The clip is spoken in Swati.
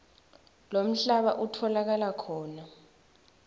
lomhlaba utfolakala khona